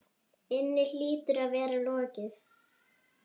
inni hlýtur að vera lokið.